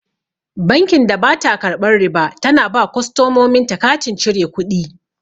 Bankin da bata karɓan riba tana ba kostomomin ta katin cire kuɗi